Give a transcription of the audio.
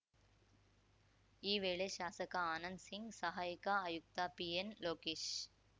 ಈ ವೇಳೆ ಶಾಸಕ ಆನಂದ್ ಸಿಂಗ್‌ ಸಹಾಯಕ ಆಯುಕ್ತ ಪಿಎನ್‌ ಲೋಕೇಶ